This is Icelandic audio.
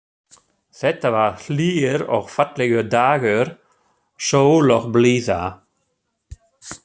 Þetta var hlýr og fallegur dagur, sól og blíða.